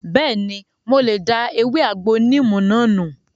Bẹ́ẹ̀ni, mo lè da ewé àgbo níìmù náà nù